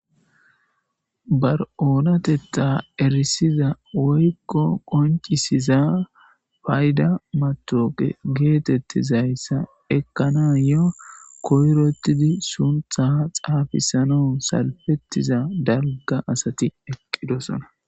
Ba oonatetha erisiza woyko qoncisiza payda matoqa getetizaysa ekanayo koyrotidi suntha xaafisanaw salfetiza dalga asati eqidosona.